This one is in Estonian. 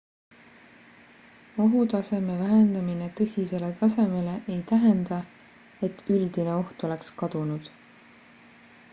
ohutaseme vähendamine tõsisele tasemele ei tähenda et üldine oht oleks kadunud